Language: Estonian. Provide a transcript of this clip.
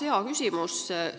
Hea küsimus!